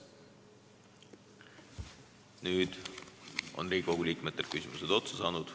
Nüüd on Riigikogu liikmetel küsimused otsa saanud.